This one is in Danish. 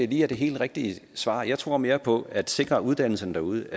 lige er det helt rigtige svar jeg tror mere på at at sikre uddannelser derude